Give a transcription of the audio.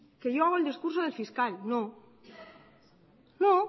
que yo hago el discurso del fiscal no yo